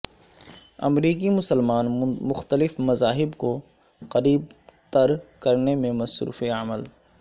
امریکی مسلمان مختلف مذاہب کو قریب تر کرنے میں مصروف عمل